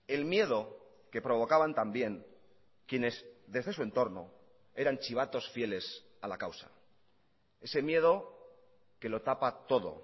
el miedo que provocaban también quienes desde su entorno eran chivatos fieles a la causa ese miedo que lo tapa todo